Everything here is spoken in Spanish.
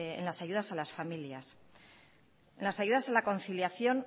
en las ayudas a las familias en las ayudas a la conciliación